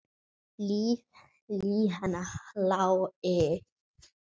Líf hennar lá við.